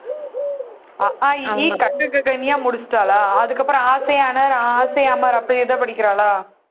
அ ஆ இ ஈ ka kha ga gha gna முடிச்சிட்டாளா அதுக்கப்புறம் a se anar, a se amar அப்புறம் இதை படிக்கிறாளா